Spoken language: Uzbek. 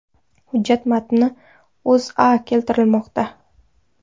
Hujjat matnini O‘zA keltirmoqda .